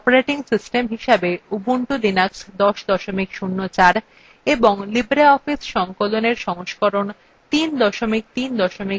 এখানে আমরা operating system হিসেবে উবুন্টু লিনাক্স ১০ ০৪ এবং libreoffice সংকলনএর সংস্করণ ৩ ৩ ৪ ব্যবহার করছি